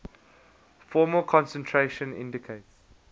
formal concentration indicates